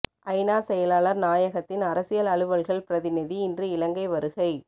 ஐநா செயலாளர் நாயகத்தின் அரசியல் அலுவல்கள் பிரதிநிதி இன்று இலங்கை வருகை